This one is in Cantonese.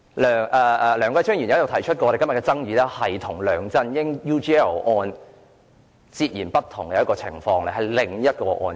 梁繼昌議員曾指出，今天的爭議與梁振英 UGL 事件是截然不同的另一個案件。